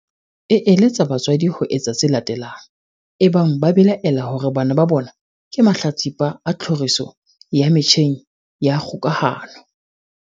e eletsa batswadi ho etsa tse latelang ebang ba belaela hore bana ba bona ke mahlatsipa a tlhoriso ya metjheng ya kgokahano.